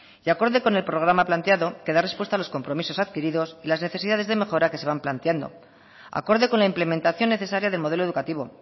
y acorde con el programa planteado que da respuesta a los compromisos adquiridos y las necesidades de mejora que se van planteando acorde con la implementación necesaria de modelo educativo